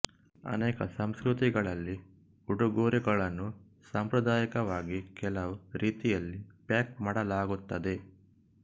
ಅನೇಕ ಸಂಸ್ಕೃತಿಗಳಲ್ಲಿ ಉಡುಗೊರೆಗಳನ್ನು ಸಾಂಪ್ರದಾಯಿಕವಾಗಿ ಕೆಲವು ರೀತಿಯಲ್ಲಿ ಪ್ಯಾಕ್ ಮಾಡಲಾಗುತ್ತದೆ